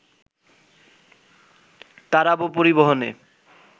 তারাবো পরিবহনে